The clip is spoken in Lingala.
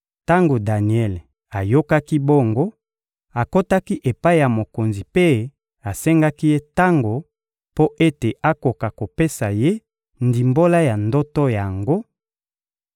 Tango Daniele ayokaki bongo, akotaki epai ya mokonzi mpe asengaki ye tango mpo ete akoka kopesa ye ndimbola ya ndoto yango;